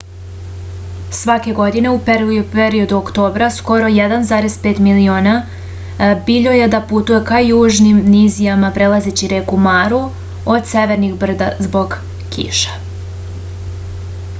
svake godine u periodu oktobra skoro 1,5 miliona biljojeda putuje ka južnim nizijama prelazeći reku maru od severnih brda zbog kiša